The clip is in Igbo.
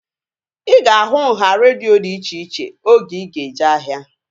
Ị ga-ahụ nhá redio dị iche iche oge ị ga-eje ahia